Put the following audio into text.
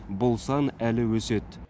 бұл сан әлі өседі